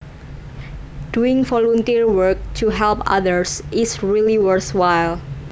Doing volunteer work to help others is really worthwhile